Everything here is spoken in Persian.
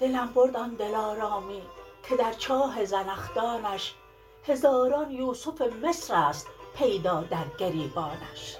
دلم برد آن دلارامی که در چاه زنخدانش هزاران یوسف مصرست پیدا در گریبانش